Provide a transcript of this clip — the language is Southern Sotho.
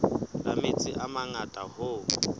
la metsi a mangata hoo